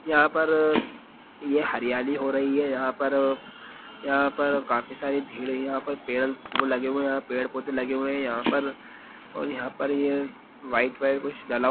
यहाँ पर ये हरियाली हो रही है यहाँ पर यहाँ पर काफी सारी भिड़ है यहाँ पर पेड़ वो लगे हुए यहाँ वो पेड़-पौधे लगे हुए यहाँ पर और यहाँ पर ये व्हाइट-व्हाइट कुछ डला।